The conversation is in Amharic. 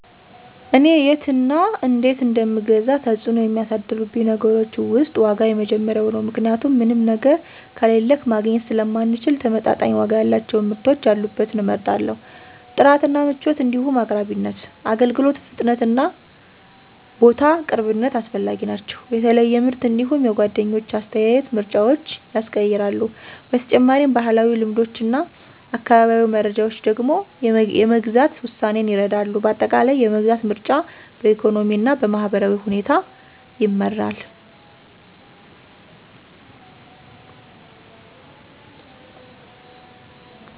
እኔ የት እና እነዴት እንደምገዛ ተጽዕኖ የሚያሳድሩብኝ ነገሮች ውስጥ ዋጋ የመጀመሪያው ነው ምክንያቱም ምንም ነገር ከሌለክ ማግኘት ስለማንችል ተመጣጣኝ ዋጋ ያላቸውን ምርቶች ያሉበትን እመርጣለሁ። ጥራት እና ምቾት እንዲሁም አቅራቢነት፣ የአገልግሎት ፍጥነትና ቦታ ቅርብነት አስፈላጊ ናቸው። የተለየ ምርት እንዲሁም የጓደኞች አስተያየት ምርጫዎችን ያስቀይራሉ። በተጨማሪም፣ ባህላዊ ልምዶችና አካባቢያዊ መረጃዎች ደግሞ የመግዛት ውሳኔን ይረዳሉ። በአጠቃላይ፣ የመግዛት ምርጫ በኢኮኖሚና በማህበራዊ ሁኔታ ይመራል።